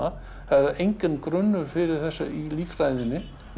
það er enginn grunnur fyrir þessu í líffræðinni